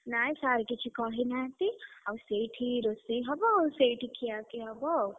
ନାଇଁ sir କିଛି କହିନାହାନ୍ତି, ଆଉ ସେଇଠି ରୋଷେଇ ହବ ସେଇଠି ଖିୟାପିୟା ହବ ଆଉ।